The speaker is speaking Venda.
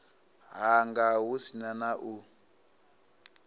hanga hu si na u